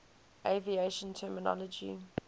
aviation terminology